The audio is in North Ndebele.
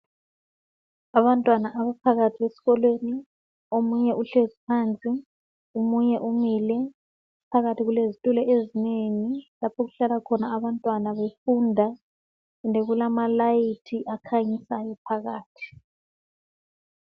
Abantwana abaphakathi esikolweni omunye uhlezi phansi omunye umile phakathi kulezitulo ezinengi lapho okuhlala khona abantwana befunda kulama layithi akhanyisayo phakathi.